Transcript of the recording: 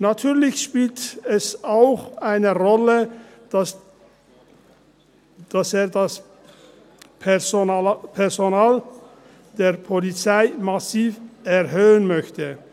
Natürlich spielt es auch eine Rolle, dass er das Personal der Polizei massiv erhöhen möchte.